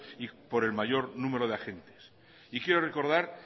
y por el mayor numere de agentes y quiero recordar